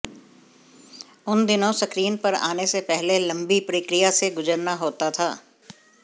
उन दिनों स्क्रीन पर आने से पहले लंबी प्रक्रिया से गुजरना होता था